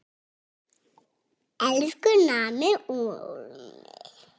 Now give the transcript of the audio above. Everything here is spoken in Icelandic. Elsku afi Númi.